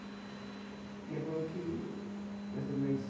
E ela falou que vai ser mais...